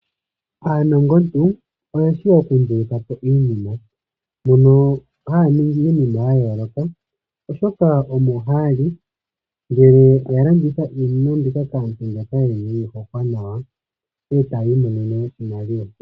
Aanongoki okundulukapo iinima mbyono haya ningi iinima ya yooloka oshoka omohaya li ngele yalanditha iinima mbika taya kaantu mboka yeyi pumbwa etayi monenemo iimaliwa.